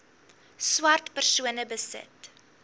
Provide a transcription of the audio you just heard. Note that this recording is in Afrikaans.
swart persone besit